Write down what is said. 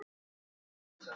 Ef svo í hvaða mæli?